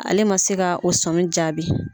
Ale ma se ka o sɔmi jaabi.